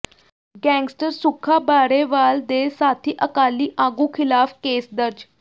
gangster Sukha Barewal ਦੇ ਸਾਥੀ ਅਕਾਲੀ ਆਗੂ ਖ਼ਿਲਾਫ਼ ਕੇਸ ਦਰਜ